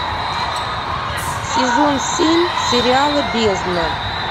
сезон семь сериала бездна